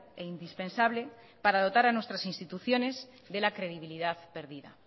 e indispensable para dotar a nuestras instituciones de la credibilidad perdida